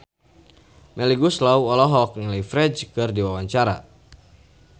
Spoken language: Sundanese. Melly Goeslaw olohok ningali Ferdge keur diwawancara